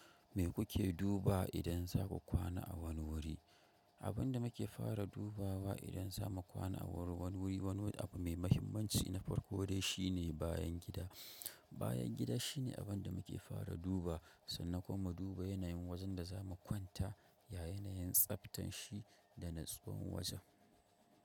Me kuke duba idan za ku kwana a wani wuri? Abin da muke fara duba wa idan za mu kwana a wani wuri, wani abu mai mahimmanci na farko dai shine bayan gida. Bayan gida shine abunda muke fara dubawa, sannan kuma mu duba ya yanayin wajen da zamu kwanta, ya yanayin tsaftan shi, da natsuwan wajen.